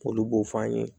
K'olu b'o f'an ye